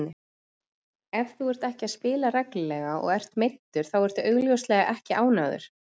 Ef þú ert ekki að spila reglulega og ert meiddur þá ertu augljóslega ekki ánægður.